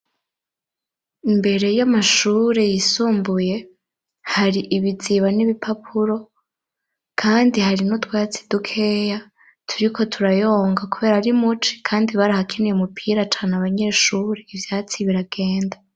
Imbere y'amashure yisumbuye, hari ibiziba n'ibipapuro, kandi hari n'utwatsi dukeya turiko turayonga kubera ari muci; kandi barahakiniye umupira cane abanyeshure ivyatsi biragenda.